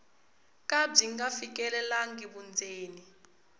ka byi nga fikelelangi vundzeni